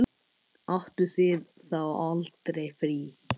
Áttuð þið þá aldrei frí?